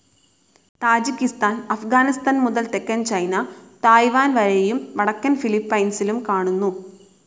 Tajikistan, Afghanistan മുതൽ തെക്കൻ China, Taiwan വരെയും വടക്കൻ ഫിലിപ്പൈൻസിലും കാണുന്നു.